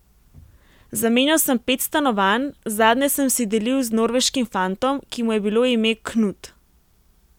Zamenjal sem pet stanovanj, zadnje sem si delil z norveškim fantom, ki mu je bilo ime Knut.